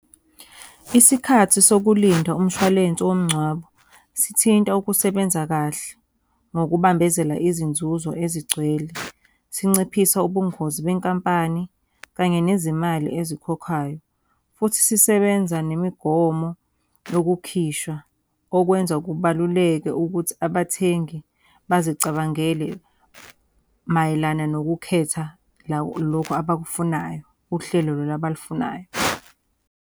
Isikhathi sokulinda umshwalense womngcwabo sithinta ukusebenza kahle ngokubambezela izinzuzo ezigcwele. Sinciphisa ubungozi benkampani, kanye nezimali ezikhokhwayo. Futhi sisebenza nemigomo yokukhishwa. Okwenza kubaluleke ukuthi abathengi bazicabangele mayelana nokukhetha lokhu abakufunayo, uhlelo lolu abalufunayo.